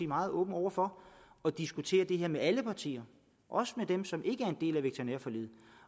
meget åbne over for at diskutere det her med alle partier også med dem som ikke er en del af veterinærforliget